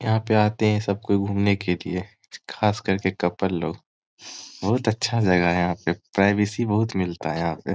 यहाँ पे आते है सब कोई घूमने के लिए खास कर के कपल लोग बहुत अच्छा यहाँ पे प्राइवेसी बहुत मिलता है यहाँ पे।